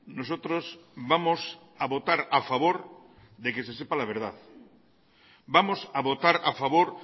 nosotros vamos a votar a favor de que se sepa la verdad vamos a votar a favor